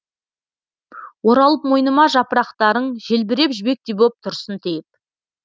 оралып мойныма жапырақтарың желбіреп жібектей боп тұрсын тиіп